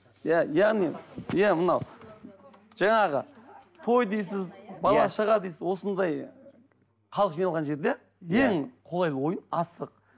иә яғни иә мынау жаңағы той дейсіз бала шаға дейсіз осындай халық жиналған жерде ең қолайлы ойын асық